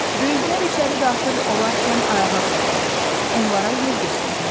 Böyüklər içəri daxil olarkən ayağa qalxmaq, onlara yer göstərmək.